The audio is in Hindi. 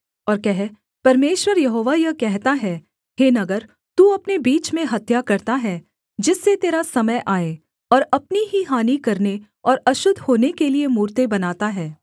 और कह परमेश्वर यहोवा यह कहता है हे नगर तू अपने बीच में हत्या करता है जिससे तेरा समय आए और अपनी ही हानि करने और अशुद्ध होने के लिये मूरतें बनाता है